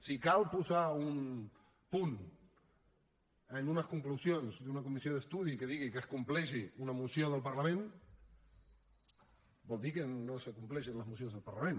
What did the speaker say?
si cal posar un punt en unes conclusions d’una comissió d’estudi que digui que es compleixi una moció del parlament vol dir que no es compleixen les mocions del parlament